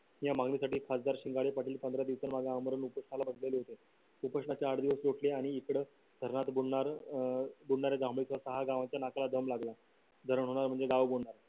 या मागणीसाठी खासदार शिंगाडे पाटील पंधरा दिवसांसाठी आमरण उपोषणाला बसले होते उपोषणाचे आठ दिवस लोटले आणि इकडे धरण बुडणार अं बुडणार दम लागला धरण होणार म्हणजे गाव बुडणार